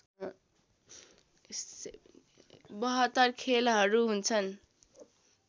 ७२ खेलहरू हुुन्छन्